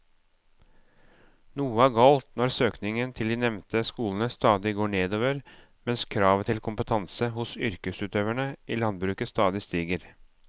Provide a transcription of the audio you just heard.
Noe er galt når søkningen til de nevnte skolene stadig går nedover mens kravet til kompetanse hos yrkesutøverne i landbruket stadig stiger.